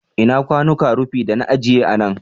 Ina kwanuka rufi da na agiye a nan?